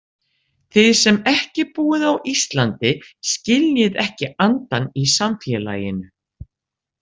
Þið sem ekki búið á Íslandi skiljið ekki andann í samfélaginu.